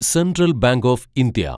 central bank of India